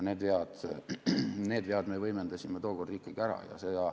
Need vead me võimendasime tookord ikkagi ära.